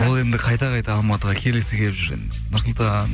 ол енді қайта қайта алматыға келгісі келіп жүр енді нұрсұлтан